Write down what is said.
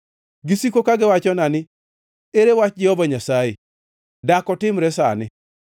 Gisiko ka giwachona ni, “Ere wach Jehova Nyasaye? Dak otimre sani!”